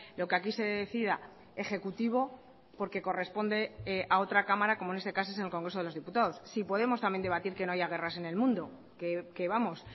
lo que aquí se decida ejecutivo porque corresponde a otra cámara como en este caso es el congreso de los diputados si podemos también debatir que no haya guerras en el mundo que vamos